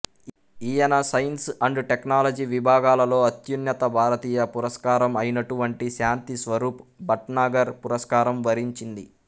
ఈయన science and technology విభాగాలలో అత్యున్నత భారతీయ పురస్కారం అయినటువంటి శాంతి స్వరూప్ భట్నాగర్ పురస్కారం వరించింది